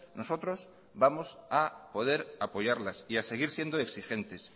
nosotros vamos a poder apoyarlas y a seguir siendo exigentes